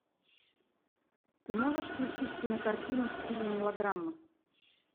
ты можешь включить кинокартину в стиле мелодрамы